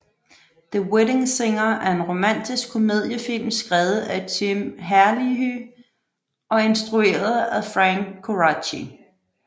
The Wedding Singer er en romantisk komedie film skrevet af Tim Herlihy og instrueret af Frank Coraci